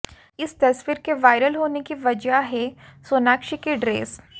इस तस्वीर के वायरल होने की वजह है सोनाक्षी की ड्रेस